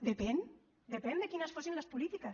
depèn depèn de quines fossin les polítiques